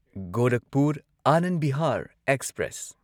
Gorakhpur Anand Bihar express